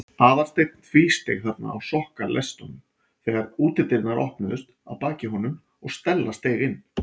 Aðalsteinn tvísteig þarna á sokkaleistunum þegar útidyrnar opnuðust að baki honum og Stella steig inn.